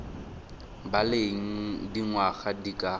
ba leng dingwaga di ka